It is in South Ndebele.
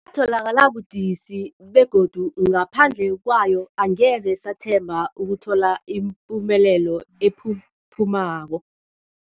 tholakala budisi, begodu ngaphandle kwayo angeze sathemba ukuthola ipumelelo ephuphumako.